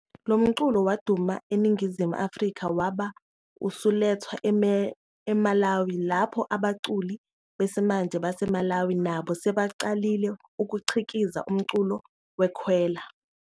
Lo mculo waduma eNingizimu Afrika wabe usulethwa eMalawi, lapho abaculi besimanje baseMalawi nabo sebeqalile ukukhiqiza umculo weKhwela.